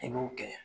I b'o kɛ